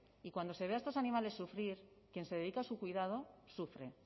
y cuando se ve a estos animales sufrir quien se dedica a su cuidado sufre